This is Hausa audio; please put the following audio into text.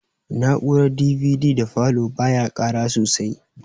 Na'urar DVD da falow ba ya ƙara sosai